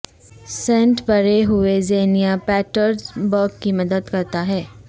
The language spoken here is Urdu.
سینٹ برے ہوئے زینیا پیٹرزبرگ کی مدد کرتا ہے